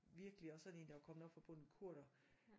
Virkelig også sådan en der var kommet op fra bunden kurder